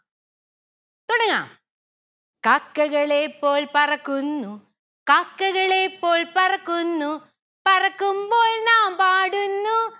തുടങ്ങാ. കാക്കകളെ പോൽ പറക്കുന്നു കാക്കകളെ പോൽ പറക്കുന്നു പറക്കുമ്പോൾ നാം പാടുന്നു